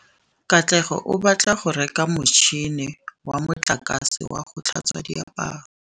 Katlego o batla go reka motšhine wa motlakase wa go tlhatswa diaparo.